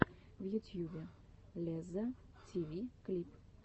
в ютьюбе лезза тиви клип